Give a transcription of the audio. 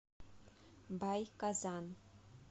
бай казан